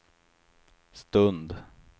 stund